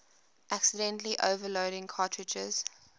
accidentally overloading cartridges